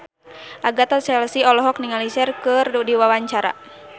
Agatha Chelsea olohok ningali Cher keur diwawancara